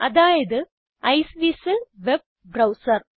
അതായത് Iceweasel web browser